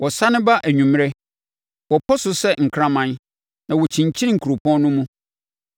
Wɔsane ba anwummerɛ, wɔpɔ so sɛ nkraman na wɔkyinkyin kuropɔn no mu.